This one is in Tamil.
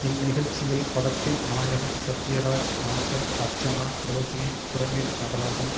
இந்நிகழ்ச்சியில் படத்தின் நாயகன் சத்யராஜ் நாசர் அர்ச்சனா ரோகினி பிரமிட் நடராஜன்